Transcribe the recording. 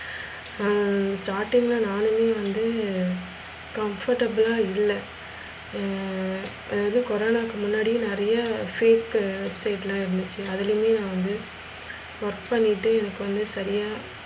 ஹம் starting ல நானுமே வந்து comfortable லா இல்ல ஹம் அதாவுது கொரோனவுக்கு முன்னாடி நிறைய fake state லா இருந்துச்சி அதுலுயிமே வந்து work பண்ணிட்டு இருக்கோணு தனியா